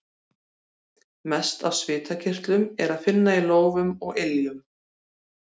Mest af svitakirtlum er að finna í lófum og iljum.